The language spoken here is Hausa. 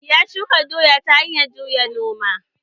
Ya shuka doya ta hanyar juya noma